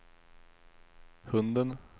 hunden